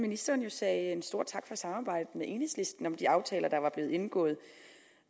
ministeren sagde en stor tak for samarbejdet med enhedslisten om de aftaler der var blevet indgået